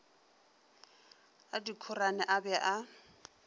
a dikhorane a be a